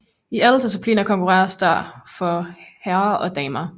I alle discipliner konkurreres der for herrer og damer